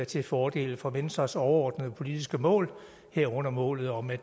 til fordel for venstres overordnede politiske mål herunder målet om at